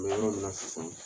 n bɛ yɔrɔ min na sisan